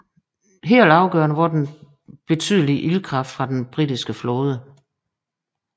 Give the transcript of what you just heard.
Helt afgørende var den betydelige ildkraft fra britiske flåde